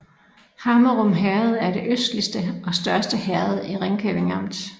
Hammerum Herred er det østligste og største herred i Ringkøbing Amt